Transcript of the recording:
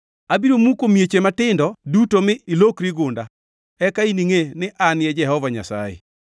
Abiro muko mieche matindo duto mi ilokri gunda. Eka iningʼe ni An e Jehova Nyasaye.